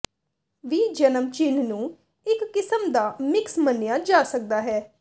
ਵੀ ਜਨਮ ਚਿੰਨ੍ਹ ਨੂੰ ਇਕ ਕਿਸਮ ਦਾ ਮਿਕਸ ਮੰਨਿਆ ਜਾ ਸਕਦਾ ਹੈ